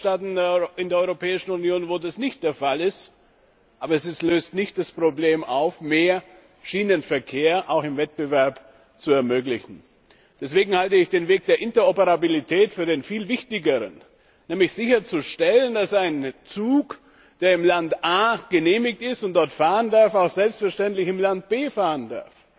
Wir haben Mitgliedstaaten in der Europäischen Union, wo das nicht der Fall ist. Aber es löst nicht das Problem, mehr Schienenverkehr auch im Wettbewerb zu ermöglichen. Deswegen halte ich den Weg der Interoperabilität für den viel wichtigeren, nämlich sicherzustellen, dass ein Zug, der im Land A genehmigt ist und dort fahren darf, auch selbstverständlich im Land B fahren darf.